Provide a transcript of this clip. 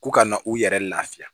Ko ka na u yɛrɛ lafiya